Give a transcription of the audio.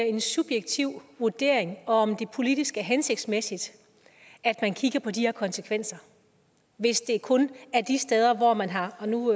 en subjektiv vurdering og om det politisk er hensigtsmæssigt at man kigger på de her konsekvenser hvis det kun er de steder hvor man har og nu